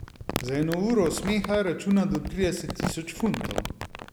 Za eno uro smeha računa do trideset tisoč funtov.